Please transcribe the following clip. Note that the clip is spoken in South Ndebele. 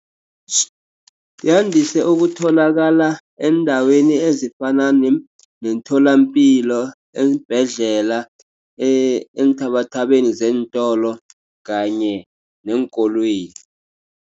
Yandise ukutholakala eendaweni ezifana neemtholampilo, eembhedlela, eenthabathabeni zeentolo kanye neenkolweni.